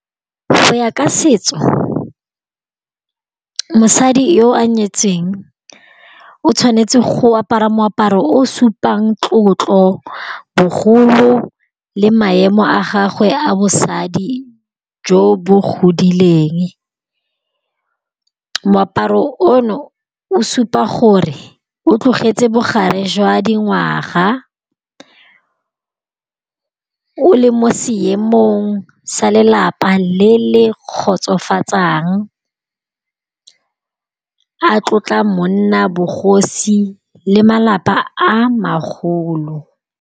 Go ya ka setso mosadi yo a nyetseng o tshwanetse go apara moaparo o supang tlotlo bogolo le maemo a gagwe a bosadi jo bo godileng, moaparo ono o supa gore o tlogetse bogare jwa dingwaga o le mo seemong sa lelapa le le kgotsofatsang a tlotla monna bogosi le malapa a magolo.